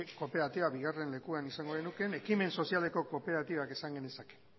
kooperatibak bigarren lekuan izango genuke ekimen sozialeko kooperatibak esan genezake